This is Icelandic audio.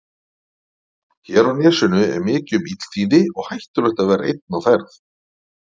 Hér á nesinu er mikið um illþýði og hættulegt að vera einn á ferð.